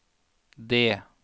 D